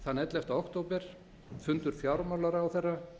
þann ellefta október fundur fjármálaráðherra